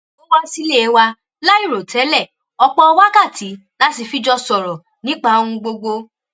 ó wá sílé wa láìròtẹ́lẹ̀ ọ̀pọ̀ wákàtí la sì fi jọ sọ̀rọ̀ nípa ohun gbogbo